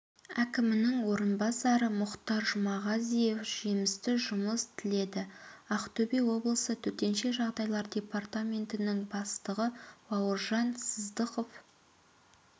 әкімінің орынбасары мұхтар жұмағазиев жемісті жұмыс тіледі ақтөбе облысы төтенше жағдайлар департаментінің бастығы бауыржан сыздықов